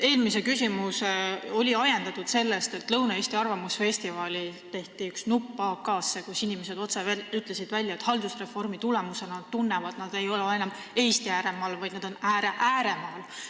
Eelmine küsimus oli ajendatud sellest, et Lõuna-Eesti arvamusfestivalil tehti üks nupp AK-sse, kus inimesed ütlesid otse välja, et haldusreformi tulemusena tunnevad nad, et nad ei ole enam Eesti ääremaal, vaid on ääre ääremaal.